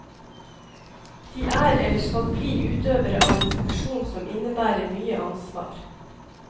De er eller skal bli utøvere av en funksjon som innebærer mye ansvar.